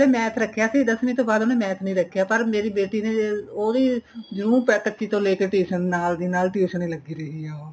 math ਰੱਖਿਆ ਸੀ ਦਸਵੀ ਤੋਂ ਬਾਅਦ ਉਹਨੇ math ਨੀਂ ਰੱਖਿਆ ਪਰ ਮੇਰੀ ਬੇਟੀ ਨੇ ਉਹਦੀ ਜਰੂਰ ਪੱਚੀ ਤੋਂ ਲੈ ਕੇ tuition ਨਾਲ ਦੀ ਨਾਲ tuition ਲੱਗੀ ਰਹੀ ਹਾਂ